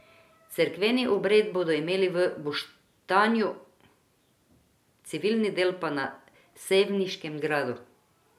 Cerkveni obred bodo imeli v Boštanju, civilni del pa na sevniškem gradu.